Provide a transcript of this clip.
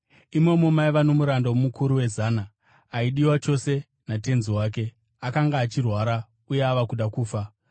Imomo maiva nomuranda womukuru wezana, aidiwa chose natenzi wake, akanga achirwara uye ava kuda kufa.